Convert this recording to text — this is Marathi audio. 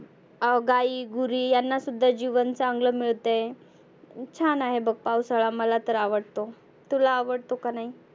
अं गाई गुरी यांना सुद्धा जिवन चांगलं मिळतय छान आहे बघ. पावसाळा मला तर आवडतो. तुला आवडतो का नाही?